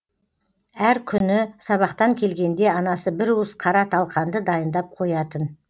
әр күні сабақтан келгенде анасы бір уыс қара талқанды дайындап қоятын